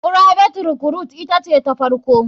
Private recruite ita ce ta farko.